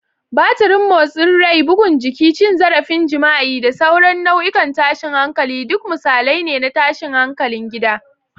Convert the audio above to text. Batirin motsin rai, bugun jiki, cin zarafin jima'i, da sauran nau'ikan tashin hankali duk misalai ne na tashin hankalin gida.